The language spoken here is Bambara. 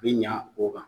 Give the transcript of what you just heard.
Bi ɲa o kan